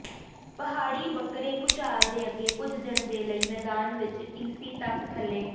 ਪਹਾੜੀ ਬੱਕਰੇ ਭੂਚਾਲ ਦੇ ਅੱਗੇ ਕੁਝ ਦਿਨ ਦੇ ਲਈ ਮੈਦਾਨ ਵਿਚ ਟੀਸੀ ਤੱਕ ਥੱਲੇ